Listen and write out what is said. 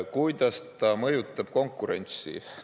Kuidas see mõjutab konkurentsi?